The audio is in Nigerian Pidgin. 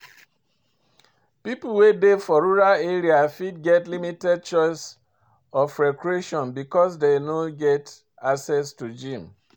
pipo wey dey for rural area fit get limited choice of recreation because dem no get access to gym